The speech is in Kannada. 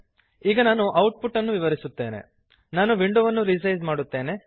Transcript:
ಈಗ ನಾನು ಔಟ್ಪುಟ್ ಅನ್ನು ವಿವರಿಸುತ್ತೇನೆ ನಾನು ವಿಂಡೋವನ್ನು ರಿಸೈಜ್ ಮಾಡುತ್ತೇನೆ